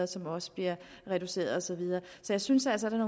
som også bliver reduceret så jeg synes altså at